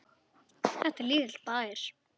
Þetta er lítill bær.